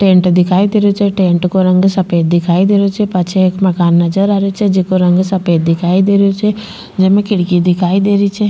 Tent दिखाई दे रहियो छे टेंट को रंग सफ़ेद दिखाई दे रहियो छे पाछे एक मकान नजर आ रहियो छे जेको रंग सफ़ेद दिखाई दे रहियो छे जेमे खिड़की दिखाई दे रही छे।